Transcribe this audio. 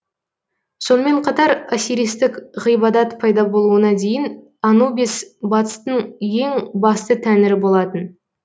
сонымен қатар осиристік ғибадат пайда болуына дейін анубис батыстың ең басты тәңірі болатын